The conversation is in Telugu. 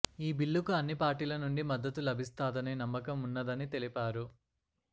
ఈ బిల్లుకు అన్ని పార్టీల నుండి మద్దతు లబిస్తాదనే నమ్మకం ఉన్నదని తెలిపారు